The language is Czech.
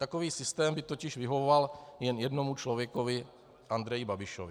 Takový systém by totiž vyhovoval jen jednomu člověku - Andreji Babišovi.